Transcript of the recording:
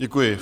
Děkuji.